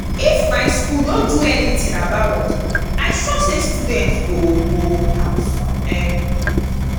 the um money wey dey pay us us no um be um wetin we agree with dem